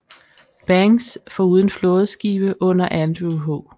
Banks foruden flådeskibe under Andrew H